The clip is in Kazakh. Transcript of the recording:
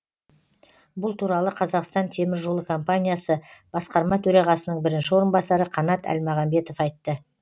бұл туралы қазақстан темір жолы компаниясы басқарма төрағасының бірінші орынбасары қанат әлмағамбетов айтты